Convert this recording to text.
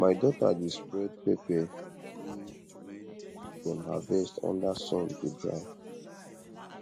my daughter dey spread pepper wey wey dem harvest under sun to dry